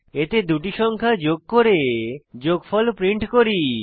এতে দুটি সংখ্যা যোগ করে যোগফল প্রিন্ট করি